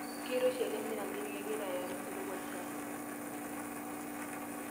Keiroshi ele mirakenti kegira ayau enkirowuaj sapuk.